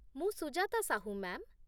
ମୁଁ ସୁଜାତା ସାହୁ, ମ୍ୟା'ମ୍ ।